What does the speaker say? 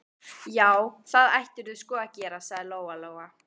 Já, það ættirðu sko að gera, sagði Lóa-Lóa.